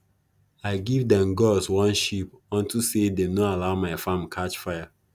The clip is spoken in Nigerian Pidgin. i give them gods one sheep onto say them no allow my farm catch fire